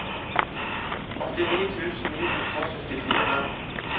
åttini tusen ni hundre og syttifire